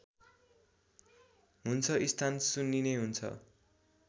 हुन्छ स्थान सुन्निने हुन्छ